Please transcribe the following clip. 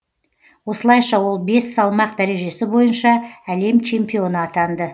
осылайша ол бес салмақ дәрежесі бойынша әлем чемпионы атанды